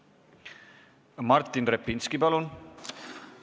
Martin Repinski, palun!